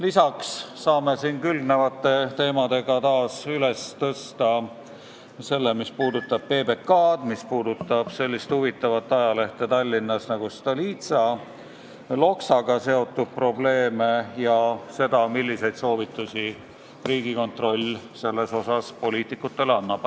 Lisaks saame külgnevate teemadega taas üles tõsta selle, mis puudutab PBK-d, sellist huvitavat ajalehte Tallinnas nagu Stolitsa, Loksaga seotud probleeme, ja küsida, milliseid soovitusi Riigikontroll selles asjas poliitikutele annab.